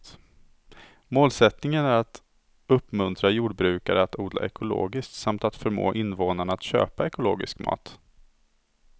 Målsättningen är att uppmuntra jordbrukare att odla ekologiskt samt att förmå invånarna att köpa ekologisk mat.